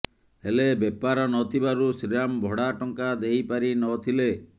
ହେଲେ ବେପାର ନ ଥିବାରୁ ଶ୍ରୀରାମ ଭଡା ଟଙ୍କା ଦେଇ ପାରି ନ ଥିଲେ